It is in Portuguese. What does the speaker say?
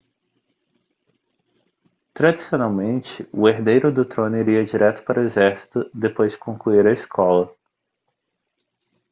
tradicionalmente o herdeiro do trono iria direto para o exército depois de concluir a escola